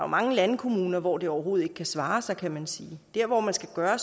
mange landkommuner hvor det overhovedet ikke kan svare sig kan man sige der hvor man skal gøre